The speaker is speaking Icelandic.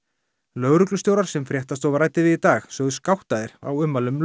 lögreglustjórar sem fréttastofa ræddi við í dag sögðust gáttaðir á ummælum